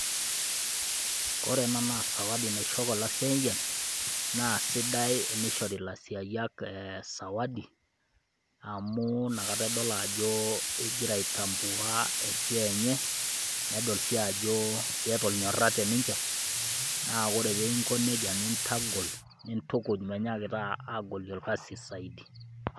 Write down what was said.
Kore ena naa sawadi nashoki olaseyiani, na sidai tenishori lasiayiak sawadi, amu nakata edol ajo igira ai tambua esiai nye, nedol si ajo iyata ornyorra teninche, naa ore pingo nejia nintagol, nintukuj menyakita agolie irkasin saidi.